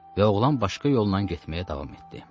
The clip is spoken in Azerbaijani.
Və oğlan başqa yolla getməyə davam etdi.